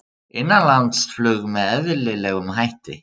Innanlandsflug með eðlilegum hætti